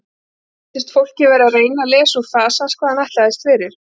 Honum sýndist fólkið vera að reyna að lesa úr fasi hans hvað hann ætlaðist fyrir.